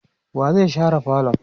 wa zai share falon?